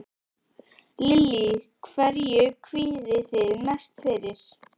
Lillý: Hverju kvíðið þið mest fyrir?